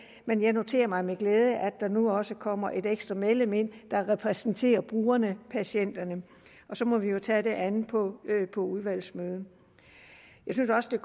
men jeg noterer mig med glæde at der nu også kommer et ekstra medlem der repræsenterer brugerne patienterne og så må vi jo tage det andet på udvalgsmøderne jeg synes også det